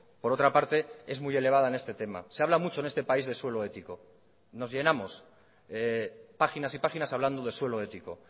por otra parte es muy elevada en este tema se habla mucho en este país de suelo ético nos llenamos páginas y páginas hablando de suelo ético